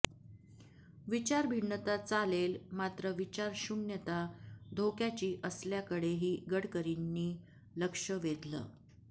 विचारभिन्नता चालेल मात्र विचारशून्यता धोक्याची असल्याकडेही गडकरींनी लक्ष वेधलं